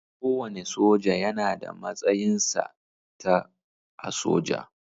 Kowane soja yana da matsayinsa/ta a soja.